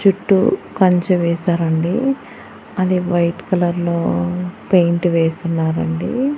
చుట్టూ కంచె వేశారండి అది వైట్ కలర్ లో పెయింట్ వేసున్నారండి.